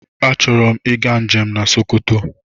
Achọrọ m ịga njem na Sokoto.